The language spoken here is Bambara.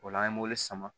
O la an ye mobili sama